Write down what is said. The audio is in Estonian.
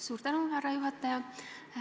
Suur tänu, härra juhataja!